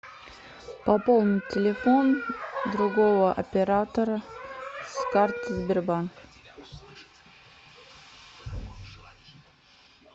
пополнить телефон другого оператора с карты сбербанк